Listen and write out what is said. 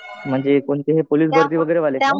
म्हणजे कोणते हे पोलीस भरतीवाले?